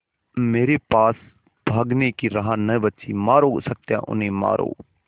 मेरे पास भागने की राह न बची मारो सत्या उन्हें मारो